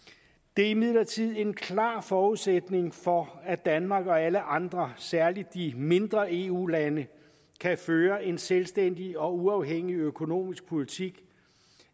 det er imidlertid en klar forudsætning for at danmark og alle andre særlig de mindre eu lande kan føre en selvstændig og uafhængig økonomisk politik